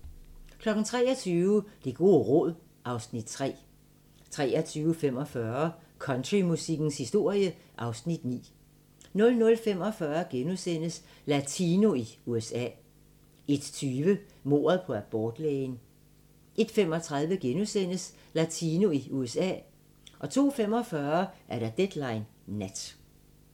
23:00: Det gode råd (Afs. 3) 23:45: Countrymusikkens historie (Afs. 9) 00:45: Latino i USA * 01:20: Mordet på abortlægen 01:35: Latino i USA * 02:45: Deadline Nat